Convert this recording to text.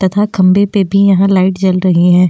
तथा खंबे पर भी यहां लाइट जल रही है।